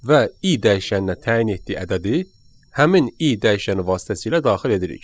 və i dəyişəninə təyin etdiyi ədədi həmin i dəyişəni vasitəsilə daxil edirik.